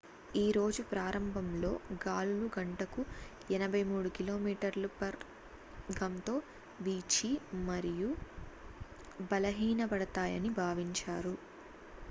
ఈ రోజు ప్రారంభంలో గాలులు గంటకు 83కి.మీ/గం. తో వీచి మరియు బలహీనపడతాయని భావించారు